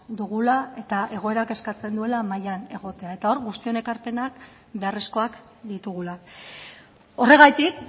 dugula eta egoerak eskatzen duela mahaian egotea eta hor guztion ekarpenak beharrezkoak ditugula horregatik